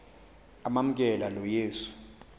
amamkela lo yesu